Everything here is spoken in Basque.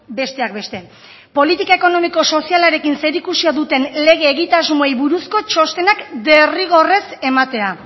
besteak beste politika ekonomiko sozialarekin zerikusia duten lege egitasmoei buruzko txostenak derrigorrez ematea